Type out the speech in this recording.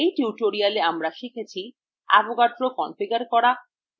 in tutorial আমরা শিখেছি